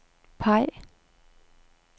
peg